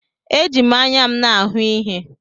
Eji m anya m na-ahụ ihe.